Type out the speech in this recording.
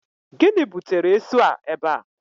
Gịnị butere esu a ebe a?